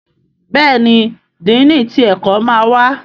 Béèni Dínni tí ẹkọ má wá.